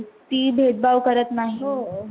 ती भेदभाव करत नाही.